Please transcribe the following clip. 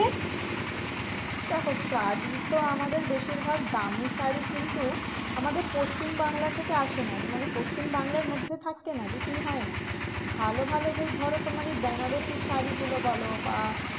দেখো শাড়ী তো আমাদের বেশিরভাগ দামি শাড়ী কিন্তু আমাদের পশ্চিমবাংলা থেকে আসে না। মানে পশ্চিমবাংলার মধ্যে থাকে না বিক্রি হয় না। ভালো ভালো যেই ধরো তোমার এই বেনারসি শাড়ীগুলো বলো বা